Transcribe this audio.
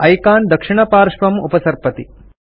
icon दक्षिणपार्श्वं उपसर्पति